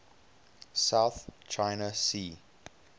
south china sea